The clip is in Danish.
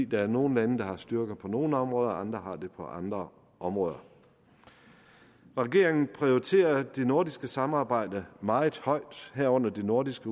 der er nogle lande der har styrker på nogle områder og andre har det på andre områder regeringen prioriterer det nordiske samarbejde meget højt herunder det nordiske